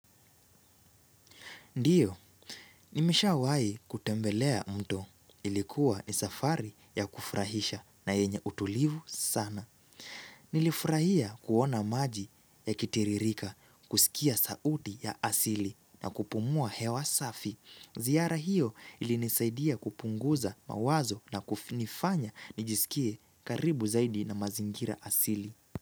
Ndiyo, nimeshawai kutembelea mto ilikuwa ni safari ya kufurahisha na yenye utulivu sana. Nilifurahia kuona maji ya kitiririka, kusikia sauti ya asili na kupumua hewa safi. Ziyara hiyo ilinisaidia kupunguza mawazo na kufinifanya nijisikie karibu zaidi na mazingira asili.